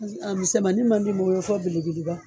A mismaɛnin ma bolo fɔ belebeleba .